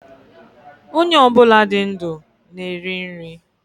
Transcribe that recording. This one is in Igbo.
Ónyé obula dị ndụ na eri nri